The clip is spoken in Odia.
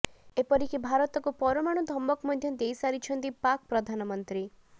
ଏପରିକି ଭାରତକୁ ପରମାଣୁ ଧମକ ମଧ୍ୟ ଦେଇ ସାରିଛନ୍ତି ପାକ୍ ପ୍ରଧାନମନ୍ତ୍ରୀ